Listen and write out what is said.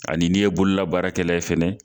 Ani n'i ye bololabaarakɛla ye fɛnɛ.